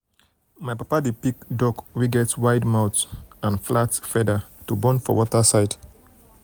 my papa-papa dey pick duck wey get wide mouth get wide mouth and flat feather to born for water side.